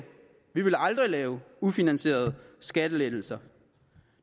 vi vil aldrig lave ufinansierede skattelettelser